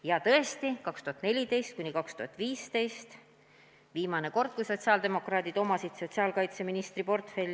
Ja tõesti, 2014–2015 oli viimane kord, kui sotsiaaldemokraadid omasid sotsiaalkaitseministri portfelli.